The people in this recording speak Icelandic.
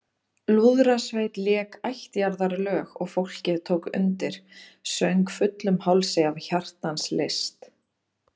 Lúðrasveit lék ættjarðarlög og fólkið tók undir, söng fullum hálsi af hjartans lyst.